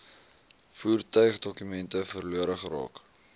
voertuigdokumente verlore geraak